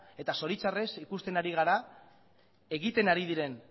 eta zoritxarrez ikusten ari gara egiten ari diren